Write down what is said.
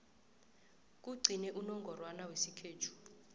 kugcine unongorwana wesikhethu